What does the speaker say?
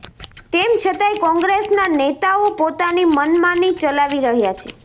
તેમ છતાંય કોંગ્રેસના નેતાઓ પોતાની મનમાની ચલાવી રહ્યા છે